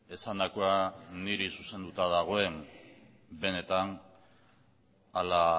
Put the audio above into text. esandakoa niri zuzenduta dagoen benetan ala